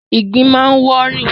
ìgbín máa ń wọ́ rìn.